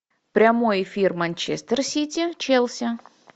прямой эфир манчестер сити челси